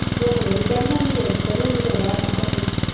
ਧੁੱਪ ਬੜੀ ਚੜ ਜਾਂਦੀ ਏ, ਇੱਛਾ ਨੀ ਹੁੰਦੀ ਫੇਰ ਬਾਹਰ ਨਿਕਲਣ ਦੀ।